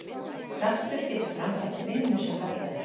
Kraftur getur framkvæmt vinnu sem kallað er.